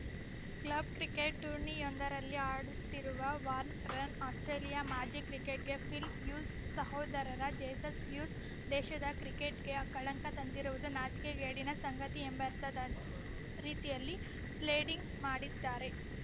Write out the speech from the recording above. club cricket ಟೂರ್ನಿಯೊಂದರಲ್ಲಿ ಆಡುತ್ತಿರುವ ವಾರ್ನರ್‌ರನ್ನು ಆಸ್ಪ್ರೇಲಿಯಾ ಮಾಜಿ ಕ್ರಿಕೆಟಿಗ ಫಿಲ್‌ ಹ್ಯೂಸ್‌ ಸಹೋದರರ ಜೇಸನ್‌ ಹ್ಯೂಸ್‌ ದೇಶದ ಕ್ರಿಕೆಟ್‌ಗೆ ಕಳಂಕ ತಂದಿರುವುದು ನಾಚಿಕೆಗೇಡಿನ ಸಂಗತಿ ಎಂಬರ್ಥದ ರೀತಿಯಲ್ಲಿ ಸ್ಲೇಡಿಂಗ್ ಮಾಡಿದ್ದಾರೆ